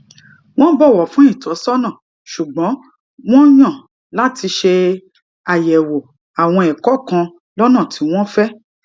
wón bòwò fún ìtósónà ṣùgbón wón yàn láti ṣe àyèwò àwọn èkó kan lónà tí wón fé